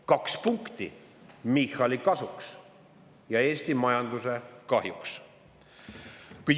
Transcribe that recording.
Kaks punkti Michali kasuks ja Eesti majanduse kahjuks.